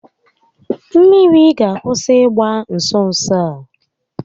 Mmiri ga akwụsị ịgba nso nso a